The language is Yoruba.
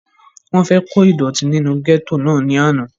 wọ́n fẹ́ kó ìdọ̀tí nínú gẹ́tò náà ní àná